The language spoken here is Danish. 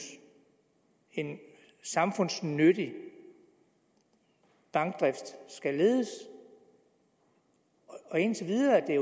en samfundsnyttig bankdrift skal ledes indtil videre er